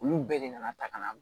Olu bɛɛ de nana ta ka na